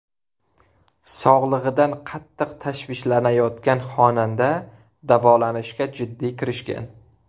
Sog‘lig‘idan qattiq tashvishlanayotgan xonanda davolanishga jiddiy kirishgan.